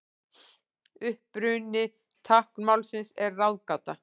Uppruni táknmálsins er ráðgáta.